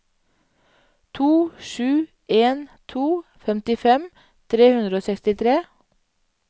to sju en to femtifem tre hundre og sekstitre